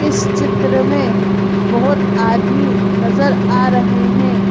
इस चित्र में बहोत आदमी नजर आ रहे हैं।